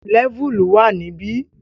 Lẹ́vùlì wà níbi